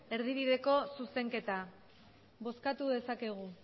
erdibideko zuzenketa bozkatu dezakegu